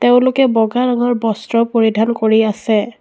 তেওঁলোকে বগা ৰঙৰ বস্ত্ৰ পৰিধান কৰি আছে।